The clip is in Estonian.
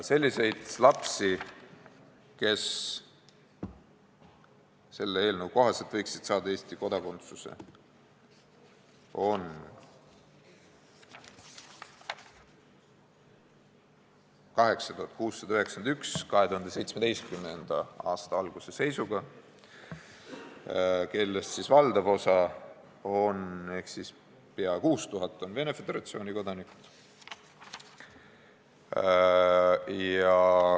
Selliseid lapsi, kes selle eelnõu kohaselt võiksid Eesti kodakondsuse saada, oli 2017. aasta alguse seisuga 8691, kellest valdav osa ehk peaaegu 6000 on Venemaa Föderatsiooni kodanikud.